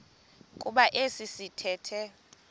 kuba esi sithethe